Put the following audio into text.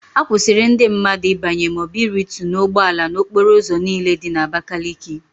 A kwụsịrị ndị mmadụ ịbanye maọbụ irutu n'ụgbọala n'okporo ụzọ niile dị n'Abakaliki.